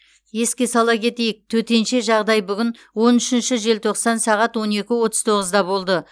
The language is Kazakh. еске сала кетейік төтенше жағдай бүгін он үшінші желтоқсан сағат он екі отыз тоғызда болды